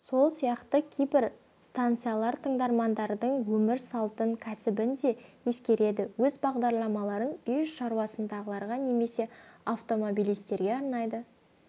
сол сияқты кейбір станциялар тыңдармандардың өмір салтын кәсібін де ескереді өз бағдарламаларын үй шаруасындағыларға немесе автомобилистерге арнайды